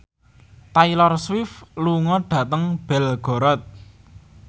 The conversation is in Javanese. Taylor Swift lunga dhateng Belgorod